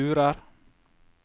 lurer